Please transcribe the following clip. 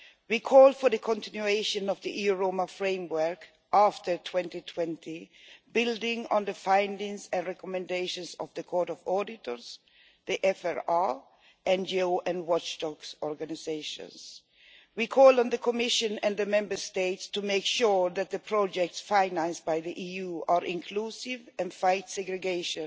We call for the continuation of the EU Roma framework after 2020, building on the findings and recommendations of the Court of Auditors, the FRA, NGOs and watchdog organisations. We call on the Commission and the Member States to make sure that the projects financed by the EU are inclusive and fight segregation.